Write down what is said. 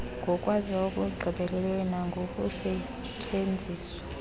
ngokwaziwa okugqibeleleyo nangokusetyenziswa